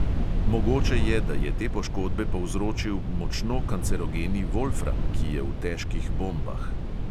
Mogoče je, da je te poškodbe povzročil močno kancerogeni volfram, ki je v težkih bombah.